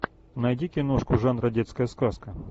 найди киношку жанра детская сказка